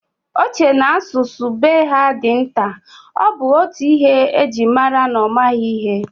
Ọ chere na asụsụ be ha dị nta, ọ bụ otú ihe ji mara na ọ maghị ihe